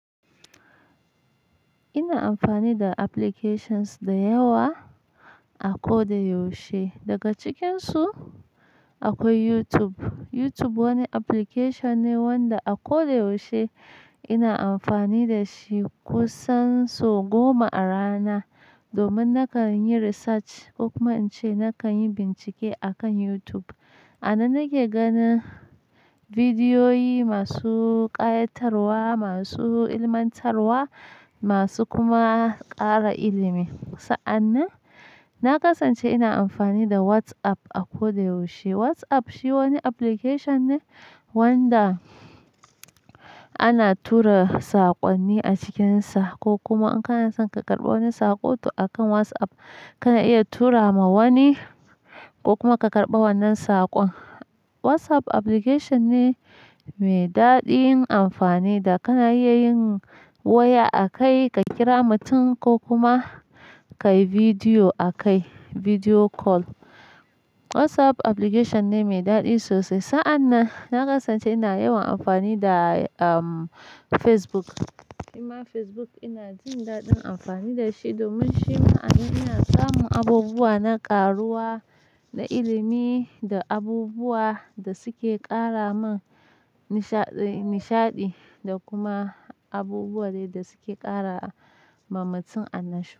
Ina amfani da applications da yawa a ko da yaushe. Daga cikinsu akwai YouTube. YouTube wani application ne wanda a ko da yaushe ina amfani da shi kusan sau goma a rana domin nakan yi research ko kuma in ce nakan yi bincike akan YouTube. Anan nake ganin bidiyoyi masu ƙayatarwa, masu ilmantarwa, masu kuma ƙara ilimi. Sa'an nan, na kasance ina amfani da WhatsApp a ko da yaushe. WhatsApp shi wani application ne wanda ana tura saƙonni a cikinsa ko kuma in ka na san ka karɓa wani saƙo, to akan WhatsApp kana iya tura ma wani ko kuma ka karɓa wannan saƙon. WhatsApp application ne mai daɗi in amfani da ka na iya yin waya akai ka kira mutum ko kuma ka yi bidiyo akai, bidiyo call. WhatsApp application ne mai daɗi sosai. Sa'an nan, na kasance ina yawan amfani da, Facebook. Facebook ina jin daɗin amfani da shi domin shi ma anan ina samun abubuwa na ƙaruwa da ilimi da abubuwa da suke ƙara min nishaɗi da kuma abubuwa dai da suke ƙara ma mutum annashuwa.